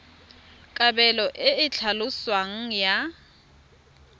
kabelo e e tlhaloswang ya